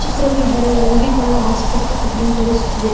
ಚಿತ್ರವು ಇಬ್ಬರೂ ರೋಗಿಗಳು ಆಸ್ಪತ್ರೆ ಕಾಣಿ ತೋರಿಸುತ್ತಿದೆ.